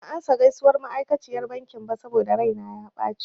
Ban amsa gaisuwar ma'aikaciyar bankin ba saboda raina ya ɓace.